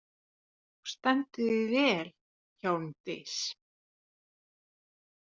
Þú stendur þig vel, Hjálmdís!